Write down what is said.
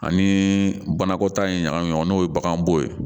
Ani banakɔtaa in ɲagami ɲɔgɔn na n'o ye bagan bo ye